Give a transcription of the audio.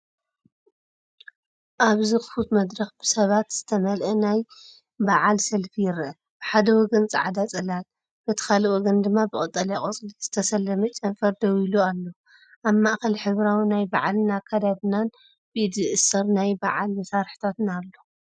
ኣብዚ ክፉት መድረኽ፣ ብሰባት ዝተመልአ ናይ በዓል ሰልፊ ይረአ፤ ብሓደ ወገን ጻዕዳ ጽላል፡ በቲ ካልእ ወገን ድማ ብቀጠልያ ቆጽሊ ዝተሰለመ ጨንፈር ደው ኢሉ ኣሎ። ኣብ ማእከል ሕብራዊ ናይ በዓል ኣከዳድናን ብኢድ ዝእሰር ናይ በዓል መሳርሒታትን ኣሎ።